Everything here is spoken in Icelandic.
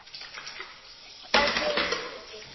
á beði Skútu